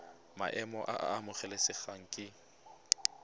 maemo a a amogelesegang ke